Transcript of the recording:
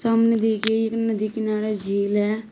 सामने दिए गए एक नदी किनारे झील है।